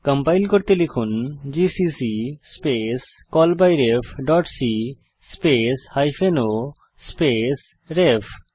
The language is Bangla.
কম্পাইল করতে লিখুন GCC space call by ref dot c space hyphen o space রেফ